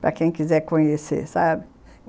Para quem quiser conhecer, sabe?